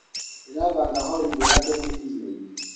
Ndirabanga horidĩ ya gũthĩi irianĩ.